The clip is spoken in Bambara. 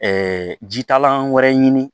jitalan wɛrɛ ɲini